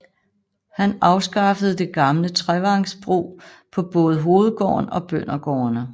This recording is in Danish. Han afskaffede det gamle trevangsbrug på både hovedgården og bøndergårdene